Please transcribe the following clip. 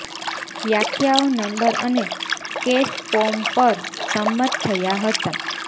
વ્યાખ્યાઓ નંબર અને case form પર સંમત થયા હતા